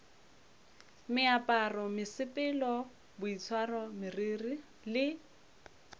meaparo mesepelo boitshwaro meriri le